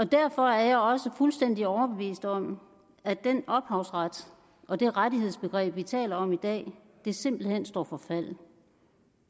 derfor er jeg også fuldstændig overbevist om at den ophavsret og det rettighedsbegreb vi taler om i dag simpelt hen står for fald